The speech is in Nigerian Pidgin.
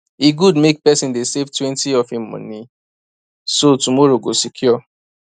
e good make person dey savetwentyof him money so tomorrow go secure